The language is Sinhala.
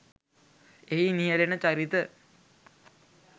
එහි නියැලෙන චරිත